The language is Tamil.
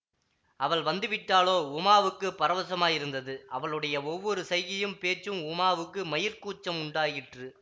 அவள் வந்துவிட்டாலோ உமாவுக்கு பரவசமாயிருந்தது அவளுடைய ஒவ்வொரு சைகையும் பேச்சும் உமாவுக்கு மயிர்க் கூச்சம் உண்டாக்கிற்று